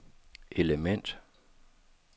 element